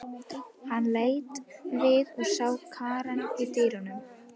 Hann leit við og sá Karen í dyrunum.